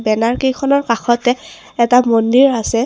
banner কেইখনৰ কাষতে এটা মন্দিৰ আছে |